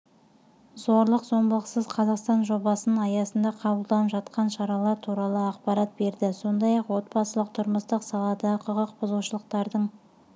зорлық-зомбылықсыз қазақстан жобасының аясында қабылданып жатқан шаралар туралы ақпарат берді сондай-ақ отбасылық-тұрмыстық саладағы құқық бұзушылықтардың